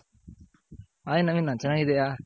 hi Naveena ಚೆನ್ನಾಗಿದ್ದೀಯ.